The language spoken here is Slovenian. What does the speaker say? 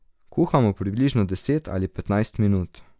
Kuhamo približno deset ali petnajst minut.